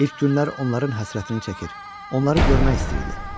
İlk günlər onların həsrətini çəkir, onları görmək istəyirdi.